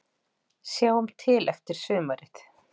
Sjáum til eftir sumarið